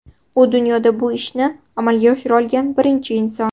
U dunyoda bu ishni amalga oshira olgan birinchi inson.